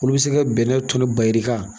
Olu bɛ se ka bɛnɛ tɔni ba yirika.